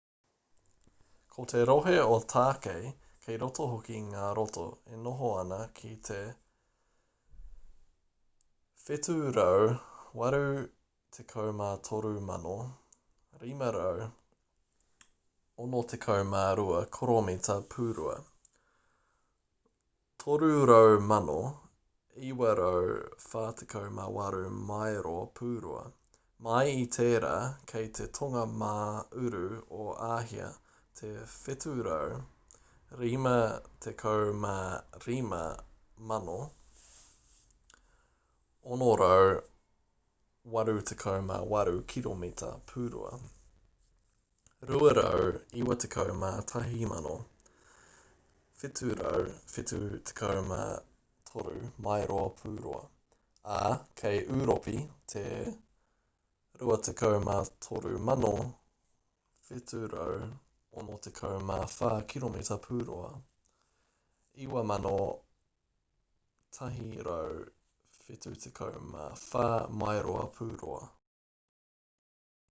ko te rohe o tākei kei roto hoki ngā roto e noho ana ki te 783,562 koromita pūrua 300,948 maero pūrua mai i tērā kei te tonga mā uru o āhia te 755,688 kiromita pūrua 291,773 maero pūrua ā kei ūropi te 23,764 kiromita pūrua 9,174 maero pūrua